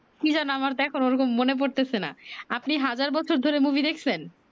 কি যেনো আমার তো এখন ওরকম মনে পরতেছে না আপনি হাজার বছর ধরে মুভি দেখছেন?